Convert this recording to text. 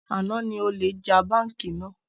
Àná ni olè já bánkì náà